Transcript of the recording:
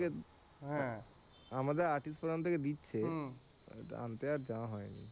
হ্যাঁ, আমাদেরও artist forum থেকে দিচ্ছে আনতে আর যাওয়া হয়নি।